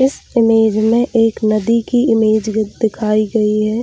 इस इमेज में एक नदी की इमेज दिखाई गई है